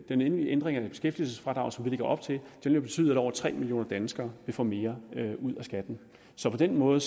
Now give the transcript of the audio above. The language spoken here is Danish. endelige ændring af beskæftigelsesfradrag som vi lægger op til vil betyde at over tre millioner danskere vil få mere ud af skatten så på den måde